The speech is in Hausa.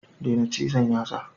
Daina cizon yatsa.